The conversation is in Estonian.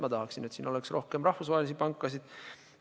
Ma tahaksin, et siin oleks rohkem rahvusvahelisi pankasid.